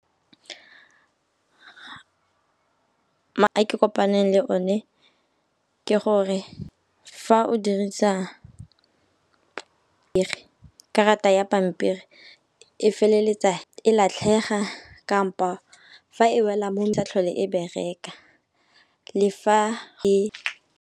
A ke kopaneng le one ke gore fa o dirisa karata ya pampiri e feleletsa e latlhega kampo fa e wela sa tlhole e bereka le fa e.